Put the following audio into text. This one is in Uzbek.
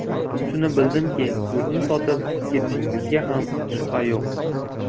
Shuni bildimki, yurtni sotib ketishingizga ham shubha yo‘q.